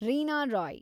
Reena Roy